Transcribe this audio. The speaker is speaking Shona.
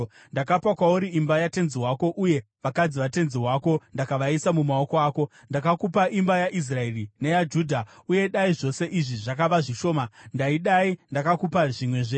Ndakapa kwauri imba yatenzi wako, uye vakadzi vatenzi wako ndakavaisa mumaoko ako. Ndakakupa imba yaIsraeri neyaJudha. Uye dai zvose izvi zvakava zvishoma, ndaidai ndakakupa zvimwezve.